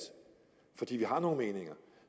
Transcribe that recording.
fordi vi har nogle meninger